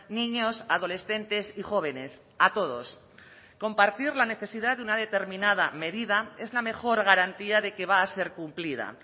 niños adolescentes y jóvenes a todos compartir la necesidad de una determinada medida es la mejor garantía de que va a ser cumplida